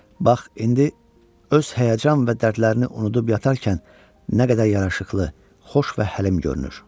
Bax, indi öz həyəcan və dərdlərini unudub yatarkən nə qədər yaraşıqlı, xoş və həlim görünür.